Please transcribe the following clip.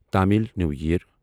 Tamil new ییر